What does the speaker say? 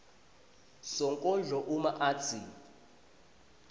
sonkondlo uma atsi